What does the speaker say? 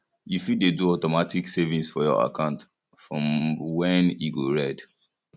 you fit dey do automatic savings for your account for when e go red